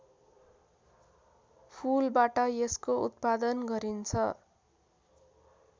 फूलबाट यसको उत्पादन गरिन्छ